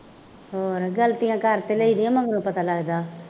ਹੋਰ ਗਲਤੀਆਂ ਕਰ ਤਾਂ ਲਈ ਦੀਆਂ, ਮਗਰੋਂ ਪਤਾ ਲੱਗਦਾ